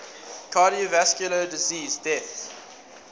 cardiovascular disease deaths